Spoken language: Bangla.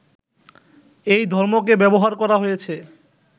এই ধর্মকে ব্যবহার করা হয়েছে